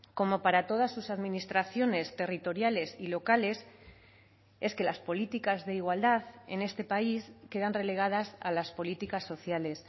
como para todas sus administraciones territoriales y locales es que las políticas de igualdad en este país quedan relegadas a las políticas sociales